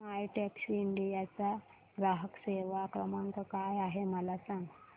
My Taxi India चा ग्राहक सेवा क्रमांक काय आहे मला सांग